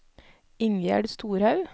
Ingjerd Storhaug